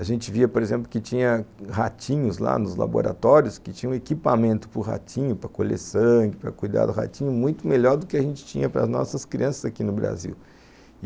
A gente via, por exemplo, que tinha ratinhos lá nos laboratórios, que tinham equipamento para o ratinho, para colher sangue, para cuidar do ratinho, muito melhor do que a gente tinha para as nossas crianças aqui no Brasil.